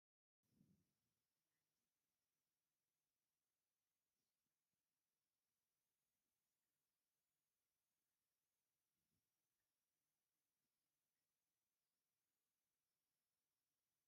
ብናይ ወሰን መንገዲ ተኽልታት ዝማዕረገ ስፋልት ይርአ ኣሎ፡፡ ተኽልታት እስካብ ክንድዚ ማዕርግ ዝህቡ እንታብ ኮኑ ኣብ ወሰን መንገድታት ተኽሊ ምትካል ንምንታይ እዩ ዘይተባባዕ?